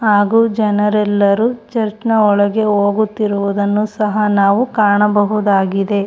ಹಾಗು ಜನರೆಲ್ಲರೂ ಚರ್ಚ್ ನ ಒಳಗೆ ಹೋಗುತ್ತಿರುವುದನ್ನು ಸಹ ನಾವು ಕಾಣಬಹುದಾಗಿದೆ.